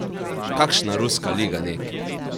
Kakšna ruska liga neki!